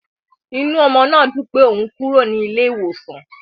Inú ọmọ náà dùn pé òun kúrò ní ilé iwosan.